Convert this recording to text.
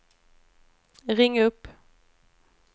ring upp